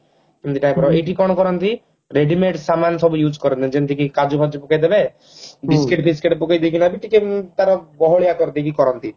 ଏଇଠି କଣ କରନ୍ତି readymade ସାମାନ ସବୁ use କରନ୍ତି ଯେମିତିକି କାଜୁ ଫାଜୁ ପକେଇଦେବେ biscuit ଫିଶକିଟ ପକେଇଦେଇ କିନା ବି ଟିକେ ବି ତାର ବହଳିଆ କରି ଦେଇକି କରନ୍ତି